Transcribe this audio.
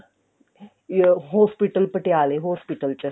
ਇਹ hospital ਪਟਿਆਲੇ hospital ਚ